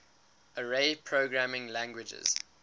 array programming languages